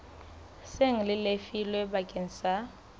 seng le lefilwe bakeng sa